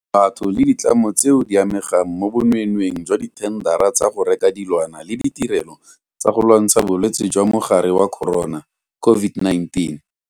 Batho le ditlamo tseo di amegang mo bonweenweeng jwa dithendara tsa go reka dilwana le ditirelo tsa go lwantsha Bolwetse jwa Mogare wa Corona COVID-19.